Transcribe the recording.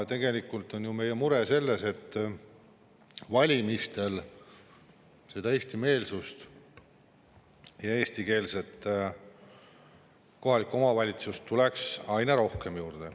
Tegelikult on meie mure selles, et valimistel tuleks eestimeelsust ja eestikeelset kohalikku omavalitsust aina rohkem juurde.